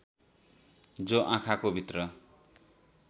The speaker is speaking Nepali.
जो आँखाको भित्र